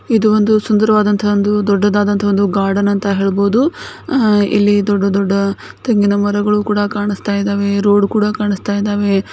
ಇದು ಒಂದು ಸುಂದರವಾದಂತಹ ಒಂದು ದೊಡ್ಡದಾದಂತ ಒಂದು ಗಾರ್ಡನ್ ಅಂತ ಹೇಳಬಹುದು ಇಲ್ಲಿ ದೊಡ್ಡ ದೊಡ್ಡ ತೆಂಗಿನ ಮರಗಳು ಕೂಡ ಕಾಣಿಸ್ತಾ ಇದೆ ರೋಡ್ ಕೂಡ ಕಾಣಿಸ್ತಾ ಇದಾವೆ.